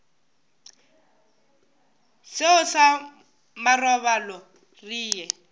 seo sa marobalo re ye